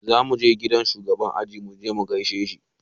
Zamu je gidan shugaban aji muje mu gaishe shi